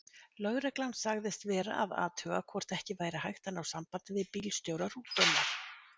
Lögreglan sagðist vera að athuga hvort ekki væri hægt að ná sambandi við bílstjóra rútunnar.